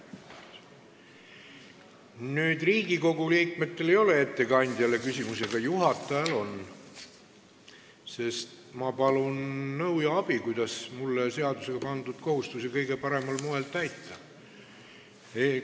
Riigikogu liikmetel ei ole ettekandjale rohkem küsimusi, aga juhatajal on, sest ma palun nõu ja abi, kuidas mulle seadusega pandud kohustusi kõige paremal moel täita.